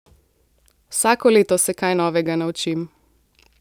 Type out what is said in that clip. Vsako leto se kaj novega naučim.